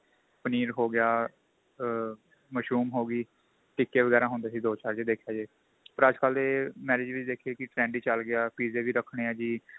ਪਨੀਰ ਹੋ ਗਿਆ ਆ mushroom ਹੋ ਗਈ ਟਿੱਕੇ ਵਗੈਰਾ ਹੁੰਦੇ ਸੀ ਦੋ ਚਾਰ ਜੇ ਦੇਖਿਆ ਜੇ ਪਰ ਅੱਜਕਲ ਦੇ marriage ਵਿੱਚ ਦੇਖੀਏ ਕੀ trend ਹੀ ਚੱਲ ਗਿਆ ਪਿਜ਼ੇ ਵੀ ਰੱਖਣੇ ਏ ਜੀ